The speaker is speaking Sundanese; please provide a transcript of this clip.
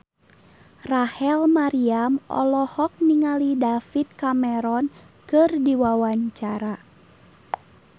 Rachel Maryam olohok ningali David Cameron keur diwawancara